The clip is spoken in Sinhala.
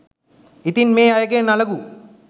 ඉතින් මේ අයගෙන් අලගු